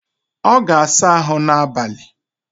Ọ ga-asa ahụ n'abalị